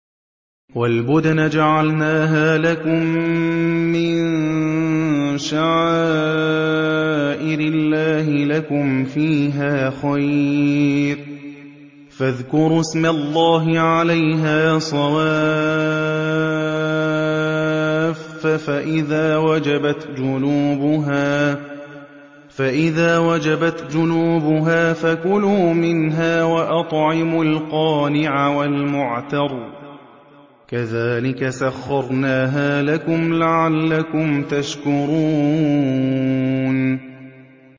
وَالْبُدْنَ جَعَلْنَاهَا لَكُم مِّن شَعَائِرِ اللَّهِ لَكُمْ فِيهَا خَيْرٌ ۖ فَاذْكُرُوا اسْمَ اللَّهِ عَلَيْهَا صَوَافَّ ۖ فَإِذَا وَجَبَتْ جُنُوبُهَا فَكُلُوا مِنْهَا وَأَطْعِمُوا الْقَانِعَ وَالْمُعْتَرَّ ۚ كَذَٰلِكَ سَخَّرْنَاهَا لَكُمْ لَعَلَّكُمْ تَشْكُرُونَ